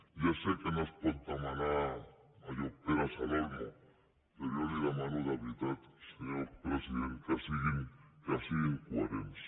ja sé que no es pot demanar allò peras al olmo però jo li demano de veritat senyor president que siguin coherents